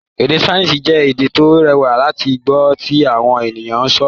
Èdè Spanish jẹ́ èdè tó rẹwà láti gbọ́ tí àwọn ènìyàn ń sọ̀rọ̀